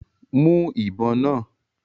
Mú ìbọn náà!